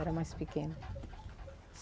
Era mais pequena.